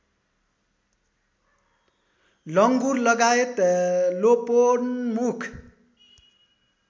लुङ्गुरलगायत लोपोन्मुख